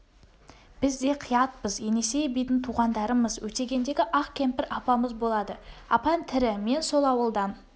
біз де қиятпыз енесей бидің туғандарымыз өтегендегі ақ кемпір апамыз болады апаң тірі мен сол ауылдан